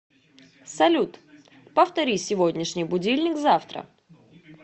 салют повтори сегодняшний будильник завтра